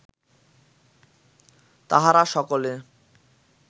তাহারা সকলে